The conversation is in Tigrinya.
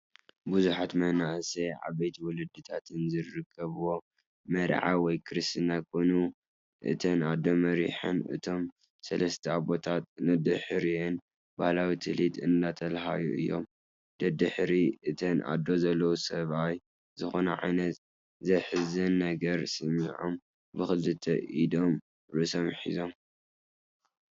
ብዙሓት መንኣሰይ ዓበይቲ ወለድታትን ዝርከብዎ መርዓ ወይ ክርስትና ኮይኑ እተን ኣዶ መሪሐን እቶም ሰለስተ ኣቦታት ደድሕሪአን ባህላዊ ትልሂት እንዳተለሃዩ እቶም ደድሕሪ እተን ኣዶ ዘለዉ ሰብኣይ ዝኾነ ዓይነት ዘሕዝን ነገር ሰሚዖም ብክልተ ኢዶም ርእሶም ሒዞም፡፡